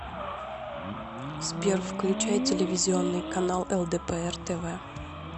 сбер включай телевизионный канал лдпр тв